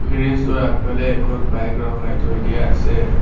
Garage টোৰ আগফালে এখন বাইক ৰখাই থৈ দিয়া আছে।